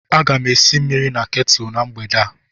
Aga m esi mmiri na ketulu na mgbede a.